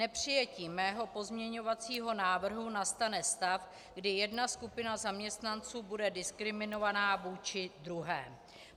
Nepřijetím mého pozměňovacího návrhu nastane stav, kdy jedna skupina zaměstnanců bude diskriminovaná vůči druhé.